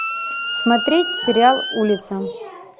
смотреть сериал улица